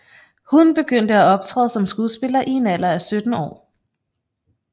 Hun begyndte at optræde som skuespiller i en alder af 17 år